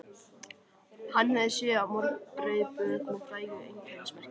Hann hafði séð á mörg breið bök með frægu einkennismerki.